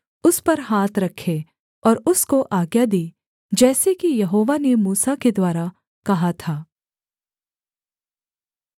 उस पर हाथ रखे और उसको आज्ञा दी जैसे कि यहोवा ने मूसा के द्वारा कहा था